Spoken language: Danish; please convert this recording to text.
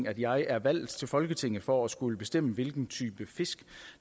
at jeg er valgt til folketinget for at skulle bestemme hvilken type fisk